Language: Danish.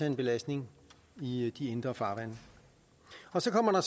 en belastning i de indre farvande så kommer